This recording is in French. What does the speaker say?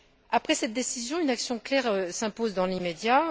Après cette décision, une action claire s'impose dans l'immédiat.